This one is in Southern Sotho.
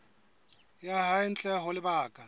ya hae ntle ho lebaka